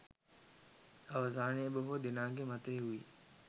අවසානයේ බොහෝ දෙනාගේ මතය වූයේ